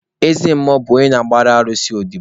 Eze mmụọ bụ onye na-agbara alụsị odobo.